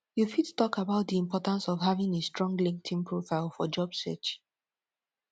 you fit talk about di importance of having a strong linkedln profile for job search